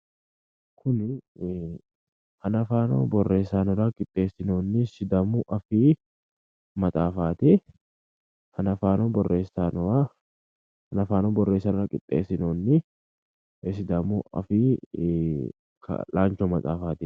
Tini hanafaano borressaanora qixxeessinoonni sidaamu afii maxaafaati. Hanafaano borreessaanora qixxessinoonni sidaamu afii kaa'laancho maxaafaati.